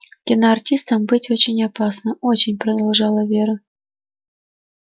киноартистом быть очень опасно очень продолжала вера